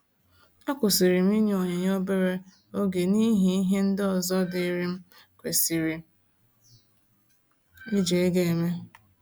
A kwusiri m inyu onyinye obere oge n'ihi ihe ndị ọzọ diri m kwesịrị iji ego eme